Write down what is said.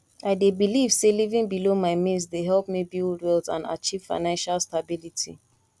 i dey believe say living below my means dey help me build wealth and achieve financial stability